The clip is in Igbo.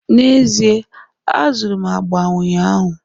N'ezie, azụrụ m agba ụnyaahụ